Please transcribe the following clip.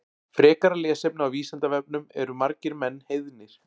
Frekara lesefni á Vísindavefnum Eru margir menn heiðnir?